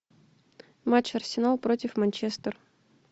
матч арсенал против манчестер